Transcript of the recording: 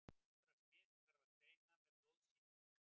eldra smit þarf að greina með blóðsýni